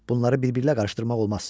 Bunları birbiriylə qarışdırmaq olmaz.